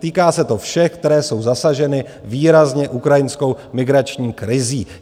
Týká se to všech, které jsou zasaženy výrazně ukrajinskou migrační krizí.